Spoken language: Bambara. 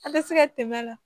A bɛ se ka tɛmɛ a la